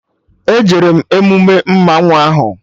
E jere m emume mmanwụ ahụ